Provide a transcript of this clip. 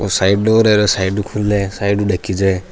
और side door है side ऊ खूल्ल साइड ऊ देखे जा है।